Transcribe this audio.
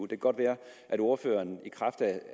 kan godt være at ordføreren i kraft af